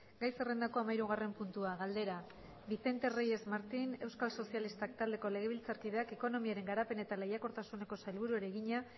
gai zerrendako hamahirugarren puntua galdera vicente reyes martín euskal sozialistak taldeko legebiltzarkideak ekonomiaren garapen eta lehiakortasuneko sailburuari egina